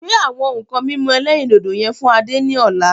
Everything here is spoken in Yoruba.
Gbe àwọn nǹkan mímu ẹlẹ́rìndòdò yẹn fún Adé ni ọ̀la.